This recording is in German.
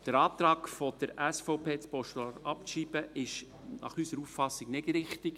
Der Antrag der SVP, das Postulat sei abzuschreiben, ist unserer Auffassung nach nicht richtig.